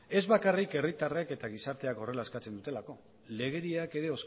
ez bakarrik herritarrek eta gizarteak horrela eskatzen dutelako legediak ere